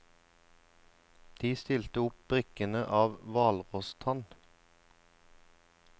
De stilte opp brikkene av hvalrosstann.